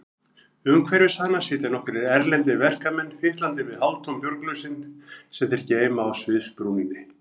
Umhverfis hana sitja nokkrir erlendir verkamenn, fitlandi við hálftóm bjórglösin sem þeir geyma á sviðsbrúninni.